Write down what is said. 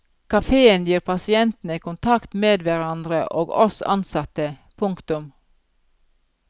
Kaféen gir pasientene kontakt med hverandre og oss ansatte. punktum